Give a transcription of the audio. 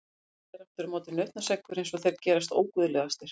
Hjalli er aftur á móti nautnaseggur eins og þeir gerast óguðlegastir.